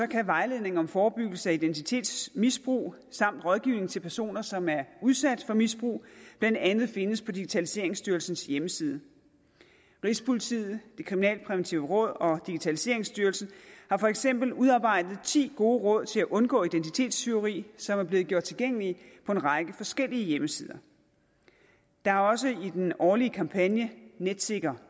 kan vejledning om forebyggelse af identitetsmisbrug samt rådgivning til personer som er udsat for misbrug blandt andet findes på digitaliseringsstyrelsens hjemmeside rigspolitiet det kriminalpræventive råd og digitaliseringsstyrelsen har for eksempel udarbejdet ti gode råd til at undgå identitetstyveri som er blevet gjort tilgængelige på en række forskellige hjemmesider der har også i den årlige kampagne netsikkernu